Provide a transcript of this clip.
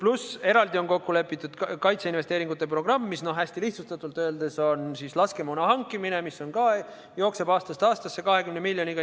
Lisaks on eraldi kokku lepitud kaitseinvesteeringute programm, mis hästi lihtsustatult öeldes on laskemoona hankimine ja mis jookseb aastast aastasse 20 miljoniga.